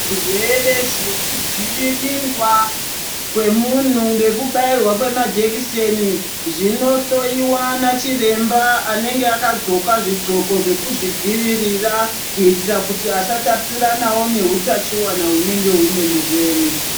Zvirwere zvekudzivirirwa kwemuntu ngekubayirwa kwemajekiseni, zvinohloyiwa nachiremba anenge akadxoka zvidxoko zvekuzvidziyirira ,kuyitira kuti asatapuranawo neutachiwana hunenge hune murwere.